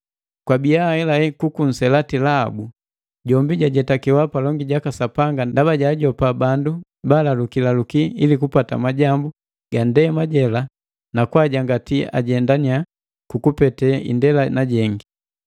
Kwabiya ahelahela kuku nselati Lahabu, jombi jajetakewa palongi jaka Sapanga ndaba jaajopa bandu baalaluki laluki ili kupata majambu ga nndema jela na kwajangati ajendannya kukupete indela na jengi.